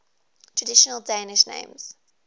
traditional danish names